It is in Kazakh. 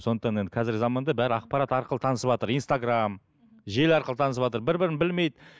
сондықтан енді қазіргі заманда бәрі ақпарат арқылы танысыватыр инстаграм желі арқылы танысыватыр бір бірін білмейді